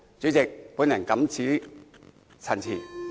主席，我謹此陳辭。